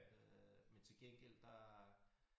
Øh men til gengæld der